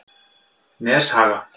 Neshaga